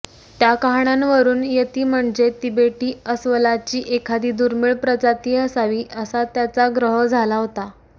त्या कहाण्यांवरुन यती म्हणजे तिबेटी अस्वलाची एखादी दुर्मिळ प्रजाती असावी असा त्याचा ग्रह झाला होता